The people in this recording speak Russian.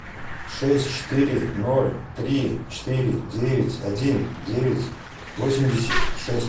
шесть четыре ноль три четыре девять один девять восемьдесят шесть